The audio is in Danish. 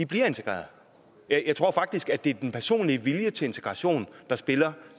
bliver integreret jeg tror faktisk at det er den personlige vilje til integration der spiller